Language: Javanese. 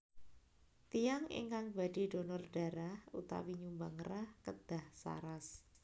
Tiyang ingkang badhe dhonor dharah utawi nyumbang rah kedah saras